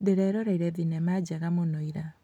Ndĩreroreire thinema njega mũno ira